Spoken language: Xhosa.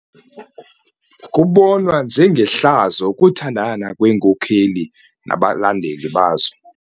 Kubonwa njengehlazo ukuthandana kweenkokeli nabalandeli bazo.